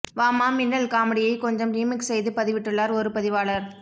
வாம்மா மின்னல் காமெடியை கொஞ்சம் ரீமிக்ஸ் செய்து பதிவிட்டுள்ளார் ஒரு பதிவாளர்